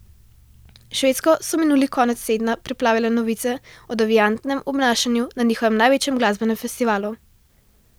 Švedsko so minuli konec tedna preplavile novice o deviantnem obnašanju na njihovem največjem glasbenem festivalu.